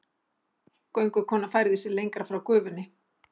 Göngukonan færði sig lengra frá gufunni.